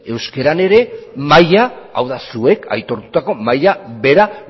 euskaran ere maila hau da zuek aitortutako maila bera